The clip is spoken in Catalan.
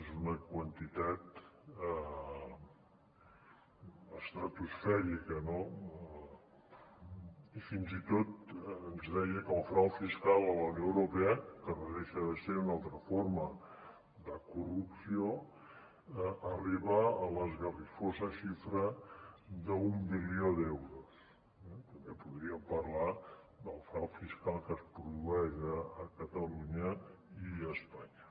és una quantitat estratosfèrica no i fins i tot ens deia que el frau fiscal a la unió europea que no deixa de ser una altra forma de corrupció arriba a l’esgarrifosa xifra d’un bilió d’euros eh també podríem parlar del frau fiscal que es produeix a catalunya i a espanya